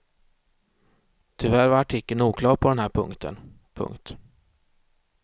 Tyvärr var artikeln oklar på den här punkten. punkt